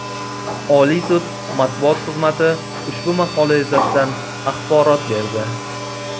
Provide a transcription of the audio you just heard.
Oliy sud Matbuot xizmati ushbu maqola yuzasidan axborot berdi .